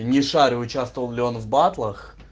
не шарю участвовал ли он в батлах